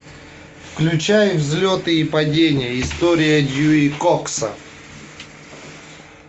включай взлеты и падения история дьюи кокса